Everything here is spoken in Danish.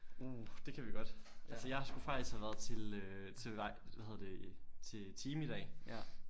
Uh det kan vi godt altså jeg skulle faktisk have været til øh til hvad hedder det time i dag